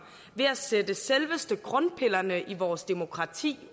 ved at sætte selveste grundpillerne i vores demokrati